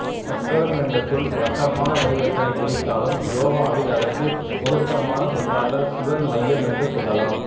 சக்கரம் என்ற சொல் வட்டமான வடிவத்தினை குறித்தாலும் யோகாவில் அதற்கு பொருத்தமான சொல்லாக சுழல் மையம் என்று சொல்லலாம்